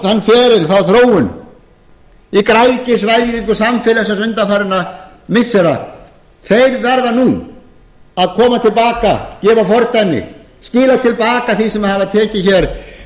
þann feril þá þróun í græðgisvæðingu samfélagsins undanfarinna missira þeir verða nú að koma til baka gefa fordæmi skila til baka því sem sjálftökuliðið hefur tekið hér